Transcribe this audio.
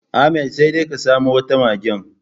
Ahmad sai dai ya samo wata magen.